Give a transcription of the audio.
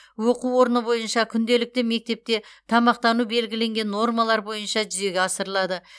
өқу орны бойынша күнделікті мектепте тамақтану белгіленген нормалар бойынша жүзеге асырылады